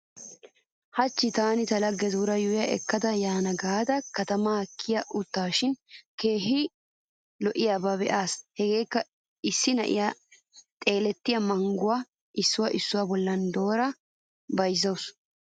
Hachchi taani ta laggetuura yuuyya ekkada yaana gaada katamaa kiya uttaashin keehi lo'iyaba be'aas. Hegeekka issi na'iya xeelettiya mangguwa issuwa issuwa bollan doorada bayzzawusu.